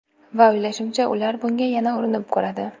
Va o‘ylashimcha, ular bunga yana urinib ko‘radi.